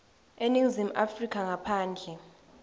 eningizimu afrika ngaphandle